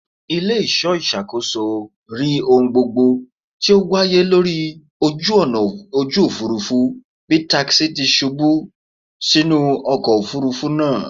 Ile-iṣọ iṣakoso ri ohun gbogbo ti o waye lori oju-ọna oju-ofurufu bi takisi ti ṣubu sinu ọkọ ofurufu naa